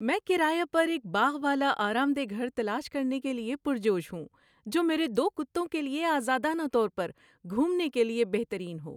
میں کرایہ پر ایک باغ والا آرام دہ گھر تلاش کرنے کے لیے پرجوش ہوں، جو میرے دو کتوں کے آزادانہ طور پر گھومنے کے لیے بہترین ہو۔